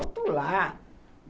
Alto lá!